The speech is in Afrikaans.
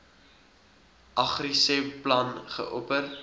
agriseb plan geopper